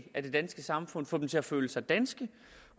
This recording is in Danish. af det danske samfund få dem til at føle sig danske